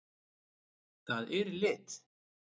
Það er í lit!